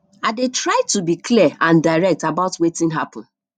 i dey try to be clear and direct about wetin happen